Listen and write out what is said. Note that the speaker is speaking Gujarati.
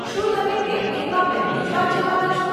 શું તમે કેન્ટીનમાં પહેલી જ વાર જવાના છો?